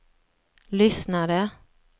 lyssnade